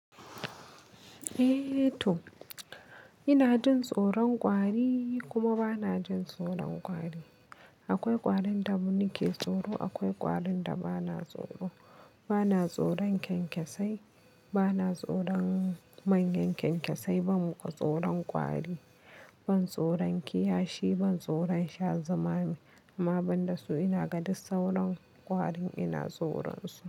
Eh to, ina jin tsoron ƙwari kuma ba na jin tsoron ƙwari. Akwai ƙwarin da nike tsoro, akwai ƙwarin da ba na tsoro. Ba na tsoron kyankyasai, ba na tsoron manyan kyankyasai, ban tsoron ƙwari, ban tsoron kiyashi, ban tsoron sha zumami. Amma banda su ina ga duk sauran ƙwari ina tsoron su.